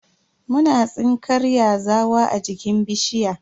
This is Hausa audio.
Muna tsinkar yazawa a jikin bishiya.